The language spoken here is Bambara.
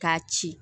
K'a ci